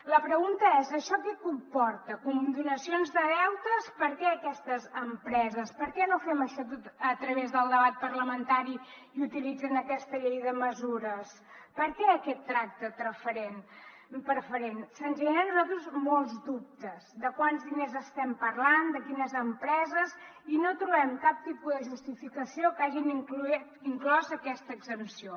la pregunta és això què comporta condonacions de deutes per què aquestes empreses per què no fem això a través del debat parlamentari i utilitzen aquesta llei de mesures per què aquest tracte preferent se’ns generen a nosaltres molts dubtes de quants diners estem parlant de quines empreses i no trobem cap tipus de justificació perquè hagin inclòs aquesta exempció